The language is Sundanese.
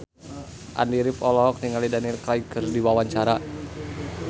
Andy rif olohok ningali Daniel Craig keur diwawancara